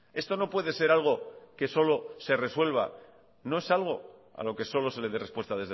esto no puede ser algo que solo se resuelva no es algo a lo que solo se le dé respuesta